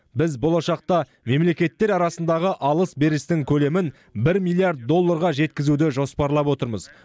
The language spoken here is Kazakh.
біз болашақта мемлекеттер арасындағы алыс берістің көлемін бір миллиард долларға жеткізуді жоспарлап отырмыз